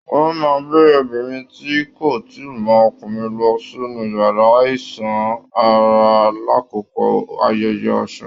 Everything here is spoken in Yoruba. Wọn máa n gbé obìnrin tí kò tíì mọ ọkùnrin lọ sínú yàrá iṣan-ara l'akoko ayẹyẹ Ọsún.